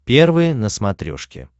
первый на смотрешке